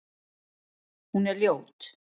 Hún er ljót.